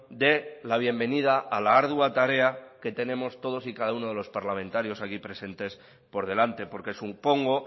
dé la bienvenida a la ardua tarea que tenemos todos y cada uno de los parlamentarios aquí presentes por delante porque supongo